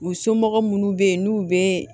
U somɔgɔw munnu bɛ yen n'u bɛ